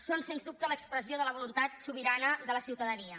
són sens dubte l’expressió de la voluntat sobirana de la ciutadania